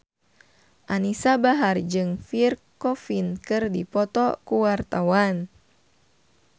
Anisa Bahar jeung Pierre Coffin keur dipoto ku wartawan